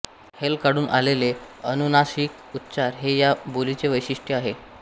हेल काढून आलेले अनुनासिक उच्चार हे या बोलीचे वैशिष्ट्य आहे